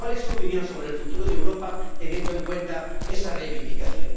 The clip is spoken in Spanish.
¿Cuál es su opinión sobre el futuro de Europa, teniendo en cuenta esa reivindicación?